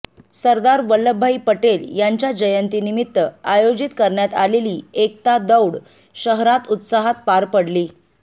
सरदार वल्लभभाई पटेल यांच्या जयंतीनिमित्त आयोजित करण्यात आलेली एकता दौड शहरात उत्साहात पार पडली